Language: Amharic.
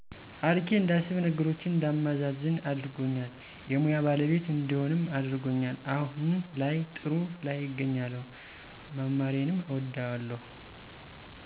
አርቄ እንዳስብ ነገሮችን እንዳመዛዝን አድርጎኛል የሙያ ባለቤት እንድሆንም አድርጎል አሁን ላይ ጥሩ ላይ እገኛለሁ መማሬንም እወደዋለሁ።